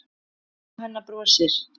Mamma hennar brosir.